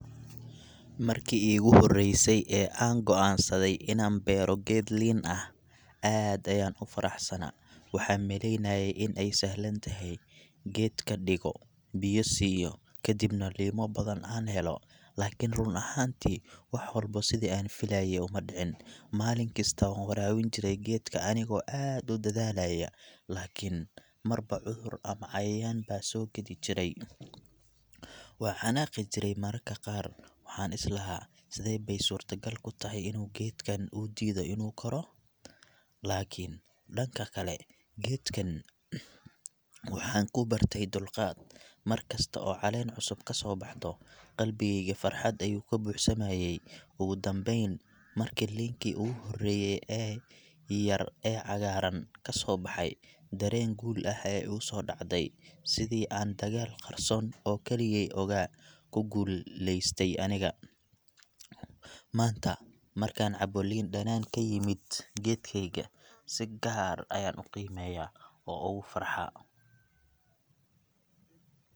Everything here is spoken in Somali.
Markii iigu horreysay ee aan go’aansaday inaan beero geed liin ah, aad ayaan u faraxsanaa. Waxaan malaynayay in ay sahlan tahay: geedka dhigo, biyo siiyo, kadibna liimo badan aan helo. Laakiin, run ahaantii, wax walba sidii aan filayay uma dhicin. Maalin kasta waan waraabin jiray geedka anigoo aad u dadaalaya, laakiin marba cudur ama cayayaan baa soo gedi jiray. Waan xanaaqi jiray mararka qaar, waxaan islahaa, Sidee bay suurtagal ku tahay inuu geedkan u diido inuu koro? Laakiin dhanka kale, geedkan waxaan ku bartay dulqaad. Markasta oo caleen cusub kasoo baxdo, qalbigayga farxad ayuu ka buuxsamayay. Ugu dambeyn, markii liinkii ugu horreeyay ee yar ee cagaaran kasoo baxay, dareen guul ah ayaa igusoo dhacday sidii aan dagaal qarsoon oo keligay ogaa ku gulleystay aniga. Maanta markaan cabbo liin dhanaan ka yimid geedkayga, si gaar ayaan u qiimeeyaa oo oogu farxaa.